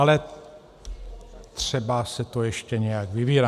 Ale třeba se to ještě nějak vyvine.